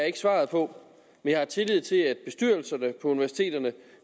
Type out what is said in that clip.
ikke svaret på men jeg har tillid til at bestyrelserne på universiteterne